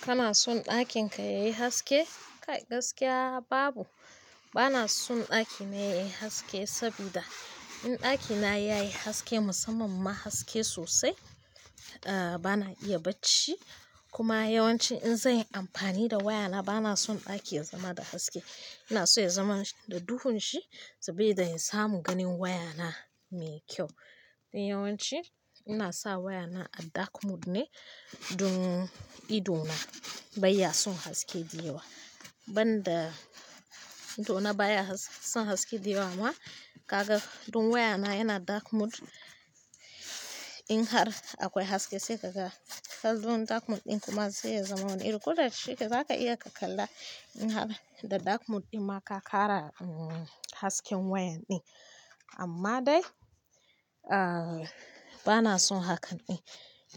Kana son ɗakin ka yayi haske? Kai gaskiya babu. Bana son ɗaki mai haske sabida in ɗakina yayi haske musamman ma haske sosai bana iya bacci. Kuma yawanci in zanyi amfani da wayana bana son ɗaki ya zama da haske. Ina so ya zama da duhun shi saboda in samu ganin wayana mai kyau. Don yawanci ina sa wayana a dark mode ne don ido na bai ya son haske da yawa. Ban da ido na baya son haske da yawa ma kaga don wayana yana dark mode. In har akwai haske sai kaga dark mode ɗin kuma sai ya zama wani iri koda shike zaka iya ka kalla. Kaga da dark mode ɗin ma ka kara hasken wayan ɗin amma dai bana son hakan ɗin.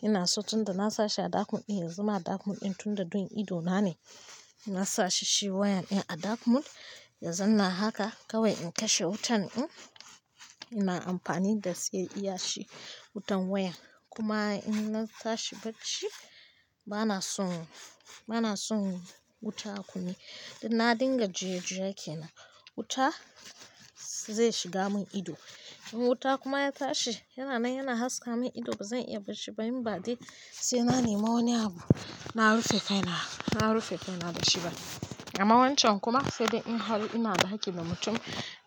Ina so tunda na sashi a dark mode ɗin, ya zama a dark mode ɗin tun da don ido na ne. Ina sa shi wayan ɗin a dark mode ya zanna haka kawai in kashe wutan ɗin. Ina amfani da sai iya shi wutan waya. Kuma in na tashi bacci bana son, bana son wuta a kunne. Don na dinga juye-juye ke nan wuta zai shiga mun ido. In wuta kuma ya tashi yana nan yana haska mun ido ba zan iya bacci ba in ba dai sai na nema wani abu na rufe kai na. Na rufe kai na dashi ba. Amma wancan kuma sai dai in har ina ɗaki da mutum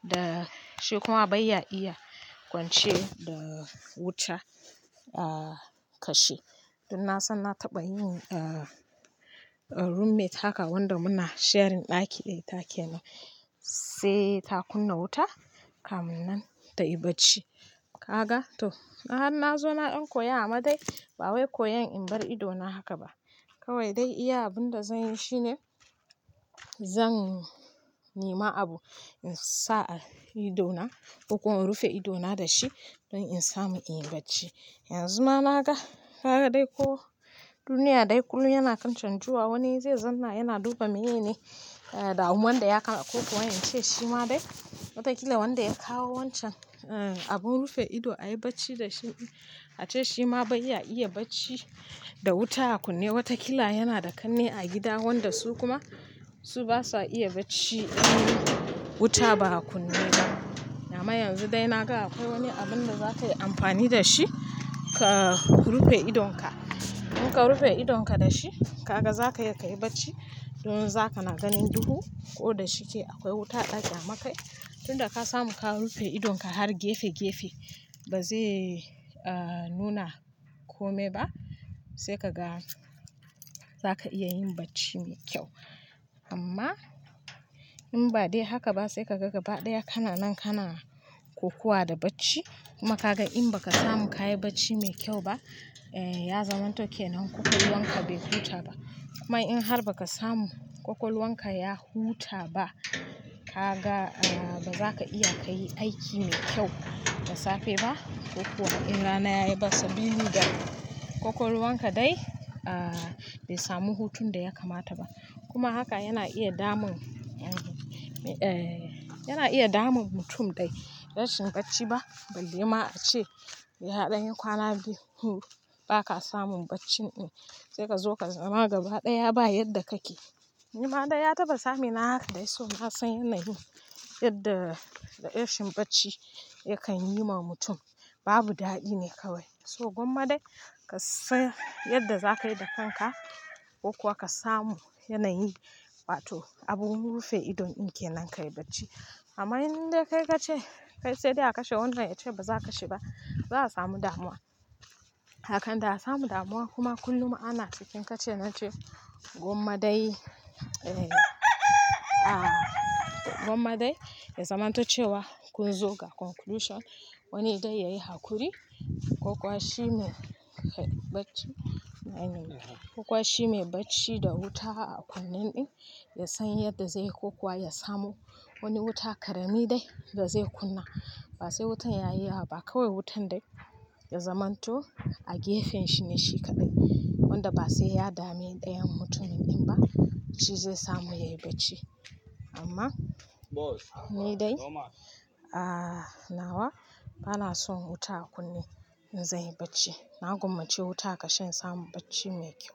da shi kuma baiya ya kwance da wuta a kashe. Dun na san na taɓa yin roommate haka wanda muna sharing ɗaki da ita kenan sai ta kunna wuta kamu nan tayi bacci. Kaga to in har na zo na ɗan koya amma dai ba wai koyan in bar ido na haka ba. Kawai dai iya abun da zanyi shine zan nema abu in sa a ido na ko kuma in rufe ido na da shi don in samu in yi bacci. Yanzu ma naga kaga dai ko duniya dai kullum yana kan canjuwa. Wani zai zanna yana duba menene damun da ya kawo ko kuma ince shi ma dai watakila wanda ya kawo wancan abun rufe ido ayi bacci da shi ace shi ma bai ya iya bacci da wuta a kunne. Watakila yana da ƙanne a gida wanda su kuma su basa iya bacci idan wuta ba a kunne ba. Amma yanzu dai na ga akwai wani abun da za ka yi amfani da shi ka rufe idonka. In ka rufe idonka da shi, kaga zaka iya kayi bacci dom zaka na ganin duhu ko da shike akwai wuta ɗaki amma kai. Tunda ka samu ka rufe idonka har gefe-gefe ba zai nuna kome ba sai kaga zaka iya yin bacci mai kyau. Amma in ba dai haka ba sai ka ga gaba ɗaya kana nan kana kokuwa da bacci. Kuma kaga in ba ka samu kayi bacci mai kyau ba ya zamanto ke nan kwakwalwanka bai huta ba. Kuma in har ba ka samu kwakwalwanka ya huta ba kaga ba za ka iya ka yi aiki mai kyau da safe ba. Ko kuwa in rana yayi bas. Sabili da da kwakwalwanka dai ah bai samu hutun da ya kamata ba. Kuma haka yana iya damun, yana iya damun mutum dai. Rashin bacci ba balle ma ace yaɗayi kwana biyu ko uku ba ka samun bacci ɗin sai ka zo ka zama gaba ɗaya ba yadda kake. Ni ma dai ya taɓa same na haka dai so na san yanayin yadda rashin bacci yakan yi ma mutum. Babu daɗi ne kawai. So gwamma dai ka san yadda za ka yi da kanka ko kuwa ka samu yanayi. Wa to abun rufe ido ɗin ke nan ka yi bacci. Amma indai kai kace kai se de a kashe wana ya ce ba za a kashe ba za a samu damuwa. Akan da a samu damuwa kuma kullum ana cikin ka ce na ce gwamma dai. Gwamma dai ya zamanto cewa kun zo ga conclusion wani dai yayi hakuri. Kwakwa shi mai bacci. Ko shi mai bacci da wuta a kunnen ɗin ya san yadda zai yi kokuwa ya samo wani wuta ƙarami dai da zai kunna. Ba sai wutan yayi yawa ba kawai wutan dai ya zamanto a gefen shi ne shi kaɗai. Wanda ba sai ya dame ɗayan mutumin ɗin ba shi zai samu yayi bacci. Amma ni dai nawa bana son wuta a kunne in zanyi bacci. Na gwammace wuta a kashe in samu bacci mai kyau.